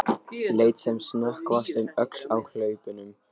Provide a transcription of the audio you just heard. Leit sem snöggvast um öxl á hlaupunum.